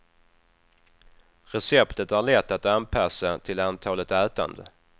Receptet är lätt att anpassa till antalet ätande.